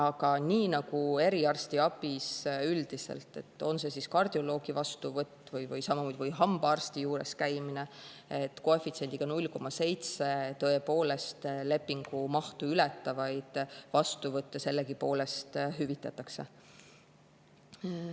Aga nii nagu eriarstiabis üldiselt, on see kardioloogi vastuvõtt või hambaarsti juures käimine, koefitsiendiga 0,7 tõepoolest lepingu mahtu ületavaid vastuvõtte sellegipoolest hüvitatakse.